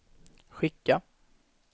skicka